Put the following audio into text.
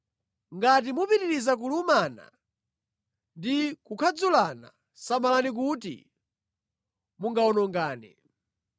Ngati mupitiriza kulumana ndi kukhadzulana, samalani kuti mungawonongane.